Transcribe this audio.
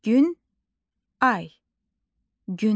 Günay.